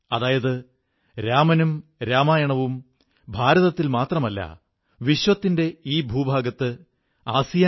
മുമ്പ് ദസറയുടെ മേളകൾ സംഘടിപ്പിക്കപ്പെട്ടിരുന്നു എന്നാൽ ഇപ്രാവശ്യം അതിന്റെ രീതിതന്നെ വേറിട്ടവിധമാണ്